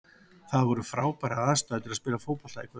Það voru frábærar aðstæður til að spila fótbolta í kvöld.